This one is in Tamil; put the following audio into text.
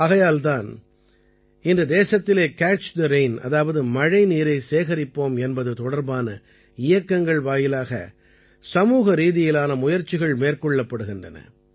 ஆகையால் தான் இன்று தேசத்திலே கேட்ச் தே ரெயின் அதாவது மழைநீரைச் சேகரிப்போம் என்பது தொடர்பான இயக்கங்கள் வாயிலாக சமூக ரீதியிலான முயற்சிகள் மேற்கொள்ளப்படுகின்றன